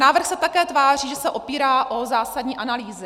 Návrh se také tváří, že se opírá o zásadní analýzy.